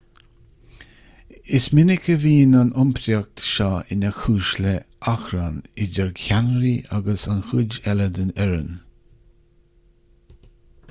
is minic a bhíonn an iompraíocht seo ina chúis le hachrann idir cheannairí agus an chuid eile den fhoireann